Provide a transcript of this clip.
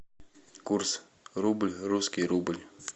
курс рубль русский рубль